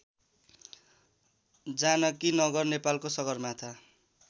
जानकीनगर नेपालको सगरमाथा